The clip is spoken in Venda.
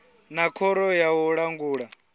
na khoro ya u langula